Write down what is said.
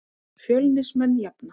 Fjölnismenn jafna.